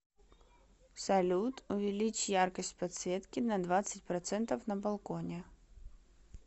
салют увеличь яркость подсветки на двадцать процентов на балконе